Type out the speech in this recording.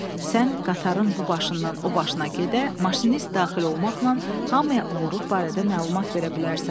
Sən qatarın bu başından o başına gedə, maşinist daxil olmaqla hamıya oğurluq barədə məlumat verə bilərsən.